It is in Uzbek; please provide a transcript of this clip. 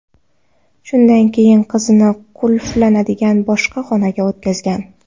Shundan keyin qizini qulflanadigan boshqa xonaga o‘tkazgan.